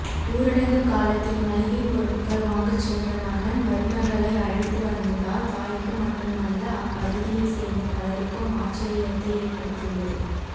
ஊரடங்கு காலத்தில் மளிகை பொருட்கள் வாங்கச்சென்ற மகன் மருமகளை அழைத்துவந்ததால் தாய்க்கு மட்டுமல்ல அப்பகுதியை சேர்ந்த பலருக்கும் ஆச்சரியத்தை ஏற்படுத்தியுள்ளது